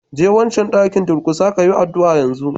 Je wancan dakin, durƙusa kayi addu'a yanzu!